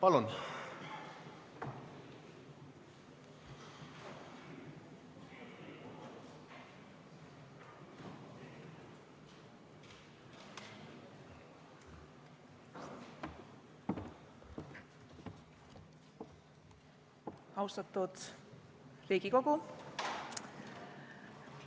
Austatud Riigikogu!